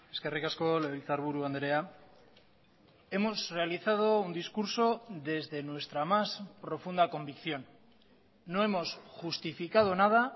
eskerrik asko legebiltzarburu andrea hemos realizado un discurso desde nuestra más profunda convicción no hemos justificado nada